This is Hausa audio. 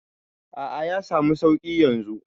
A'a, ya samu suƙi yanzu.